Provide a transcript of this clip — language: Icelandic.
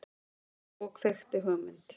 Og kveikti hugmynd.